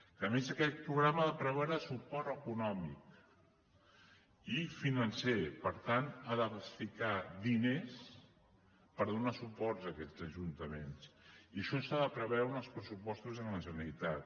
que a més aquest programa ha de preveure suport econòmic i financer per tant ha de ficar diners per donar suports a aquests ajuntaments i això s’ha de preveure en els pressupostos de la generalitat